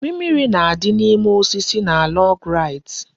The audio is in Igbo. Mimiri na-adị n'ime osisi na log rides